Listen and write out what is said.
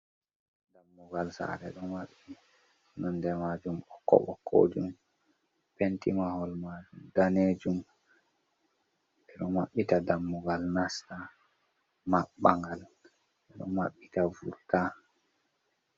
Dammugal saare ɗo maɓɓi nonde majum ɓokko ɓokkokojum penti mahol ma danejum ɓeɗo mabbita dammugal nasta mabbangal ɓeɗo mabbita vurta.